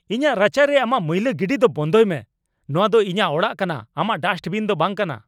ᱤᱧᱟᱹᱜ ᱨᱟᱪᱟ ᱨᱮ ᱟᱢᱟᱜ ᱢᱟᱹᱭᱞᱟᱹ ᱜᱤᱰᱤ ᱫᱚ ᱵᱚᱱᱫᱷᱚᱭ ᱢᱮ ᱾ ᱱᱚᱶᱟ ᱫᱚ ᱤᱧᱟᱹᱜ ᱚᱲᱟᱜ ᱠᱟᱱᱟ, ᱟᱢᱟᱜ ᱰᱟᱥᱴᱵᱤᱱ ᱫᱚ ᱵᱟᱝ ᱠᱟᱱᱟ !